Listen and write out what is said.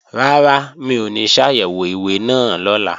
Rárá, mi ò ní ṣàyẹ̀wò ìwé náà lọ́la